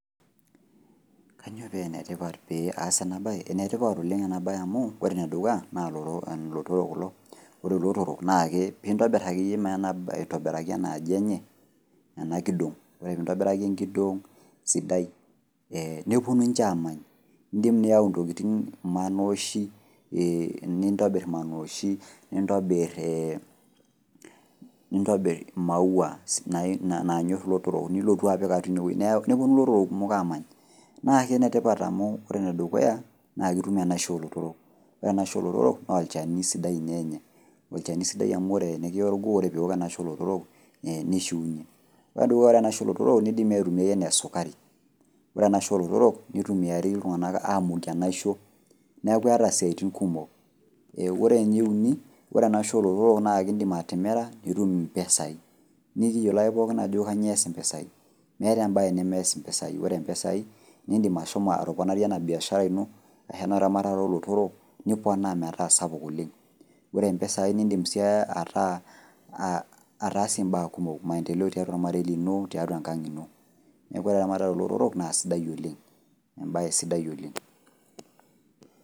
Kanyoo peenetipat pee aas enabaye? Enetipat oleng' amu ore enedukuya naa lotoro kulo, ore lotorok naake piintobirr akeiye aitobiraki enaaji enye , ena kidong' ore piintobiraki enkidong' sidai ee nepuonu ninche aamany, indim niyau ntokitin maanoishi ee nintobirr maanoishi nintobirr ee nintobirr maua naanyorr ilotorrok nilotu apik atua inewuei nepuonu kumok amany. Naake enetipat amu ore nedukuya, naakeitum enaisho olotorok, ore enaisho olotorok noolchani sidai inyenya, olchani sidai amu tinikia olgoo ore piiwok enaisho olotorok neishiunye. Ore nedukuya ore naisho olotorok neidimi aitumia enaa esukari, ore enaisho olotorok nitumiari iltung'ana aamukie enaisho neaku eata isiaitin kumok ee ore nieuni ore enaisho olotorok naake indim atimira nitum impesai. Nikiyiolo ake pookin ajo kanyoo eas impesai, meeta embaye nemeas impesai. Ore mpesai nindim ashomo atoponarie ena  biashara ino ashu ena ramatare olotorok niponaa metaa sapuk oleng'. Ore mpesai nindim sii ataasie mbaa kumok, maendeleo tiatua olmarei lino tiatua enkang' ino neaku ore eramatare olotorok naasidai oleng, embaye sidai oleng'.